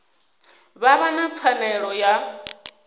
vha vha na pfanelo ya